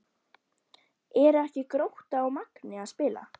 Eru ekki Grótta og Magni að spila?